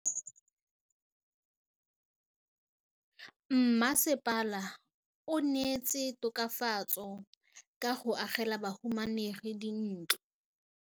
Mmasepala o neetse tokafatsô ka go agela bahumanegi dintlo.